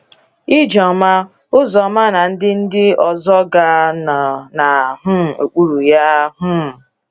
Ijeoma, Uzoma na ndị ndị ọzọga nọ na um okpuru ya. um